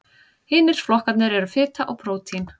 Hinir flokkarnir eru fita og prótín.